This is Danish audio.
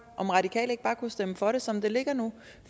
om radikale ikke bare kunne stemme for det som det ligger nu